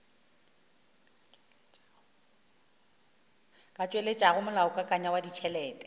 ka tšweletšago molaokakanywa wa ditšhelete